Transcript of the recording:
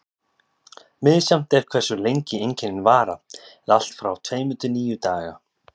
Misjafnt er hversu lengi einkennin vara, eða allt frá tveimur til níu daga.